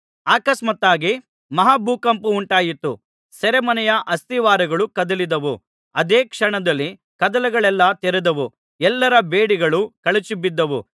ಆಕಸ್ಮಾತ್ತಾಗಿ ಮಹಾಭೂಕಂಪವುಂಟಾಯಿತು ಸೆರೆಮನೆಯ ಅಸ್ತಿವಾರಗಳು ಕದಲಿದವು ಅದೇ ಕ್ಷಣದಲ್ಲಿ ಕದಗಳೆಲ್ಲಾ ತೆರೆದವು ಎಲ್ಲರ ಬೇಡಿಗಳು ಕಳಚಿಬಿದ್ದವು